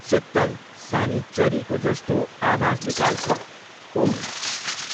चित्तल सानी चरीको जस्तो आवाज निकाल्छ ऊउ!